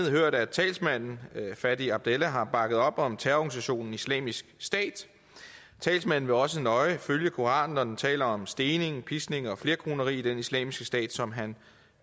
hørt at talsmanden fadi abdallah har bakket op om terrororganisationen islamisk stat talsmanden vil også nøje følge koranen når den taler om stening piskning og flerkoneri i den islamiske stat som han